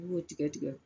I b'o tigɛ tigɛ